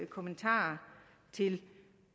kommentar til